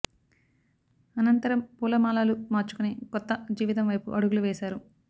అనంతరం పూల మాలలు మార్చుకుని కొత్త జీవితం వైపు అడుగులు వేశారు